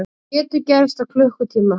Þetta getur gerst á klukkutíma.